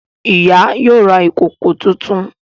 Ìyá yóò rà ìkọkọ títún.